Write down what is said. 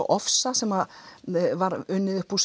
ofsa sem var unninn uppúr